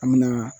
An me na